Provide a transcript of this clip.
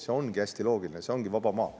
See ongi hästi loogiline, sest meil ongi vaba maa.